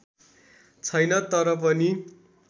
छैन तर पनि